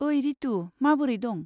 ओइ रितु, माबोरै दं?